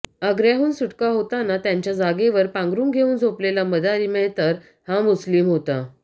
आग्य्राहून सुटका होताना त्यांच्या जागेवर पांघरून घेऊन झोपलेला मदारी मेहतर हा मुस्लीम होता